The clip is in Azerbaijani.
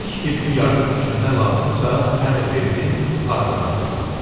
İlk tibbi yardım üçün nə lazımsa əmr verdim, hazırladılar.